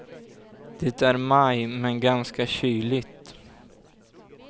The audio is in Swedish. Det är maj, men ganska kyligt.